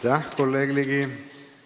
Aitäh, kolleeg Ligi!